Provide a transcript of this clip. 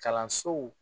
Kalansow